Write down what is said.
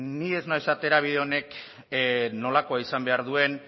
ni ez noa esatera bide honek nolakoa izan behar duen